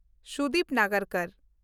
Sudip ᱱᱟᱜᱟᱨᱠᱚᱨ